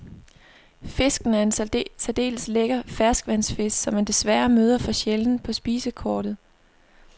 Fisken er en særdeles lækker ferskvandsfisk, som man desværre møder for sjældent på spisekortet.